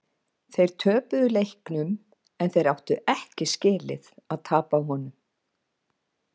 Þeir töpuðu leiknum en þeir áttu ekki skilið að tapa honum.